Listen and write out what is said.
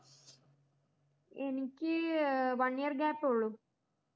എനിക്ക് one year gap ഉള്ളൂ